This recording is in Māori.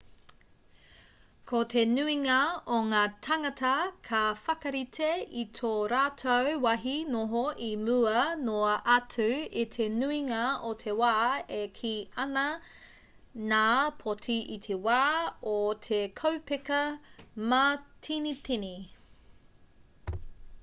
ko te nuinga o ngā tāngata ka whakarite i tō rātou wāhi noho i mua noa atu i te nuinga o te wā e kī ana ngā poti i te wā o te kaupeka mātinitini